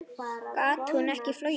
Gat hún ekki flogið?